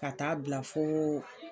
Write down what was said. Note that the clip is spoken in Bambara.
Ka taaa bila foo.